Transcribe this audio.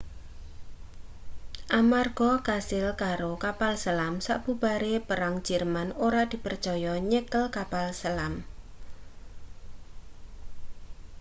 amarga kasil karo kapal selam sabubare perang jerman ora dipercaya nyekel kapal selam